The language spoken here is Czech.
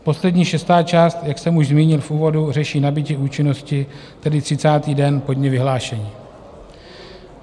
Poslední, šestá část, jak jsem už zmínil v úvodu, řeší nabytí účinnosti, tedy 30. den po dni vyhlášení.